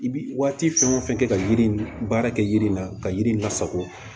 I bi waati fɛn o fɛn kɛ ka yiri in baara kɛ yiri la ka yiri lasago